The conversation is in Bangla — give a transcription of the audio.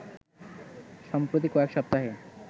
সম্প্রতি কয়েক সপ্তাহে